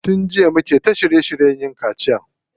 Tun jiya ake ta shirye shiryen yin kaciya.